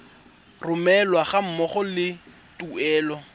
romelwa ga mmogo le tuelo